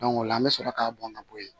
o la an bɛ sɔrɔ k'a bɔn ka bɔ yen